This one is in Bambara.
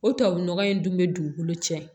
O tubabu nɔgɔ in dun bɛ dugukolo cɛn